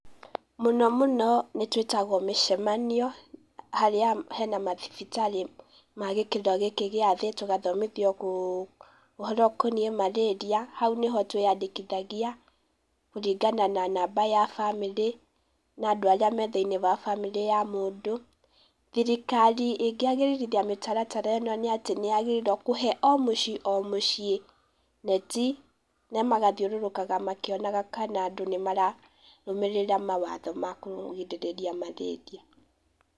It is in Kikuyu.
Mũno mũno nĩ twĩtagwo mĩcamanio, harĩa hena mathibitarĩ ma gĩkĩro gĩkĩ gĩa thĩ tũgathomithio kũ ũhoro ũkoniĩ mararia, hau nĩho twĩyandĩkithagia kũringana na namba ya bamĩrĩ, na andũ arĩa me thĩ-inĩ wa bamĩrĩ ya mũndũ, thirikari ĩngĩagĩrithia mĩtaratara ĩno nĩ atĩ nĩyagĩrĩire kũhe o mũciĩ o mũciĩ neti, na magathiũrũrũkaga makĩonaga kana andũ nĩ mararũmĩrĩra mawatho ma kũgirĩrĩria mararia